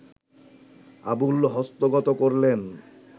আবুল হস্তগত করলেন